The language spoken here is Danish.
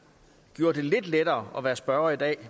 med det lidt lettere at være spørger i dag